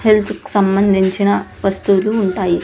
Health కి సంబంధించిన వస్తువులు ఉంటాయి.